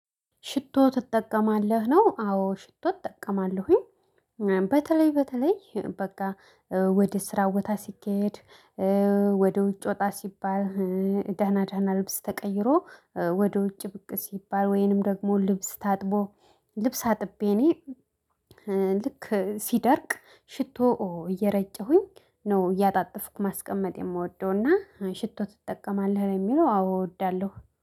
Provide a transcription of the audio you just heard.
ሽቶ ትጠቀማለህ ነው አዎ ሽቶ እጠቀማለሁኝ። በተለይ በተለይ በቃ ወደ ስራ ቦታ ስኬድ። ወደ ውጭ ወጣ ሲባል። ደህና ደህና ልብስ ተቀይሮ። ወደ ውጭ ብቅ ሲባል ወይንም ደግሞ ልብስ ታጥቦ ልብስ አጥቤ እኔ። ልክ ሲደርቅ ሽቶ እየረጨሁኝ ነው እያጣጠፍኩ ማስቀመጥ የምወደውና ሽቶ ትጠቀማለህ ለሚለው አዎ እወዳለሁ